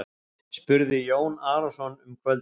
spurði Jón Arason um kvöldið.